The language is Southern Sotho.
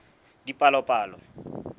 dipalopalo